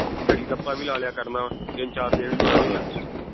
ਹੈਗੀ ਡੱਪਾ ਵੀ ਲਾ ਲਿਆ ਕਰਨਾ ਵਾਂ ਤਿੰਨ ਚਾਰ ਦੇ ਵੀ ਮਿਲੇ ਜੇ ਨਾ